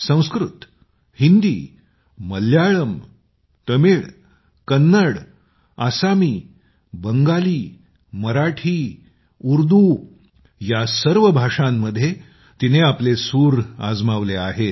संस्कृत हिंदी मल्याळम तामिळ कन्नड आसामी बंगाली मराठी उर्दू या सर्व भाषांमध्ये तिने आपले सूर आजमावले आहेत